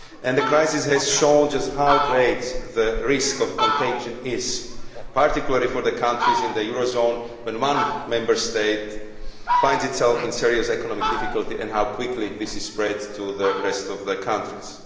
The crisis has shown just how great the risk of contagion is particularly for the countries in the euro area when one Member State finds itself in serious economic difficulty and how quickly this spreads to the rest of the countries.